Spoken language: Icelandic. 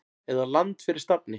eða Land fyrir stafni!